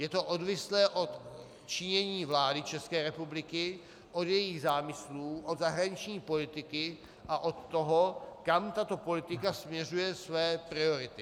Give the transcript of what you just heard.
Je to odvislé od činění vlády České republiky, od jejích zámyslů, od zahraniční politiky a od toho, kam tato politika směřuje své priority.